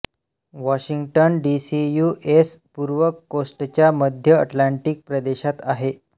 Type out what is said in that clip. Washington D C U S पूर्व कोस्टच्या मध्यअटलांटिक प्रदेशात आहे